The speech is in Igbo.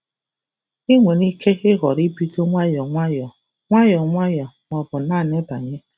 Ị nwere ike họrọ ibido nwayọọ nwayọọ - nwayọọ nwayọọ - ma ọ bụ naanị banye!